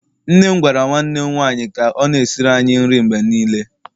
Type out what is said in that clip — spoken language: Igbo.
nne m gwara nwanne m nwanyi ka o na-esiri anyi nri mgbe niile